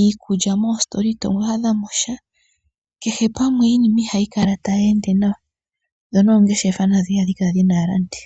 iikulya moositola ito adhamosha, kehe pamwe iinima ihayi kala tayi ende nawa ,dho noongeshefa nadho ihadhi kala kadhina aalandi.